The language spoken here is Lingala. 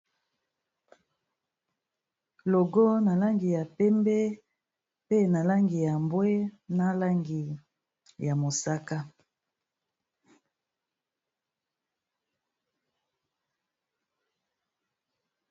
logo na langi ya pembe pe na langi ya mbwe na langi ya mosaka